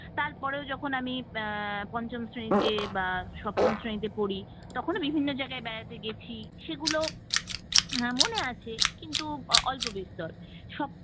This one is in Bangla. তারপরও যখন আমি এ পঞ্চম শ্রেণীতে বা সপ্তম শ্রেণীতে পড়ি তখনো বিভিন্ন জায়গায় বেড়াতে গেছি সেগুলো মনে আছে কিন্তু অল্পবিস্তার সব